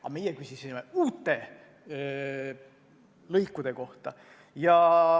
Aga meie küsisime uute lõikude kohta.